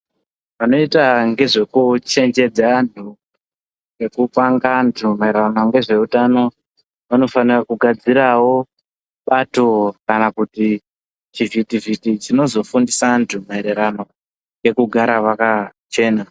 Vanoita ngezvekuchenjedza vantu nekupanga vantu mairirano nezveutano vanofanira kugadzirawo bato kana chivhiti vhiti chinozofundisa vantu maererano nekugara vakachena.